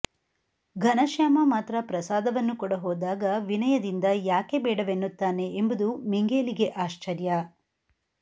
ಘನಶ್ಯಾಮ ಮಾತ್ರ ಪ್ರಸಾದವನ್ನು ಕೊಡಹೋದಾಗ ವಿನಯದಿಂದ ಯಾಕೆ ಬೇಡವೆನ್ನುತ್ತಾನೆ ಎಂಬುದು ಮಿಂಗೇಲಿಗೆ ಆಶ್ಚರ್ಯ